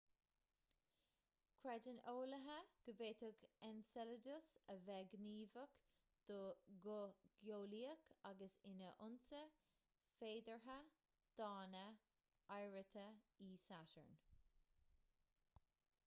creideann eolaithe go bhféadfadh enceladus a bheith gníomhach go geolaíoch agus ina fhoinse féideartha d'fháinne oighreata e satarn